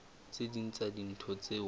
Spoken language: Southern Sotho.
tse ding tsa dintho tseo